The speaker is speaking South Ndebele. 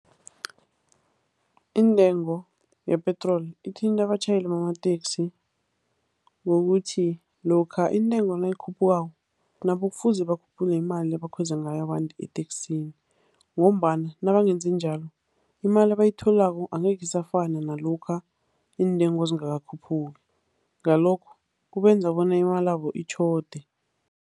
Intengo yepetroli ithinta abatjhayeli bamateksi ngokuthi lokha intengo nayikhuphukako, nabo kufuze bakhuphule imali ebakhweza ngayo abantu eteksini ngombana nabangenzi njalo, imali abayitholako angeke isafana nalokha iintengo zingakakhuphuki, ngalokho kubenza bona imalabo itjhode.